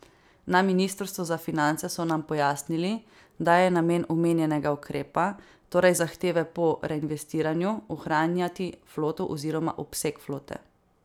Na ministrstvu za finance so nam pojasnili, da je namen omenjenega ukrepa, torej zahteve po reinvestiranju, ohranjati floto oziroma obseg flote.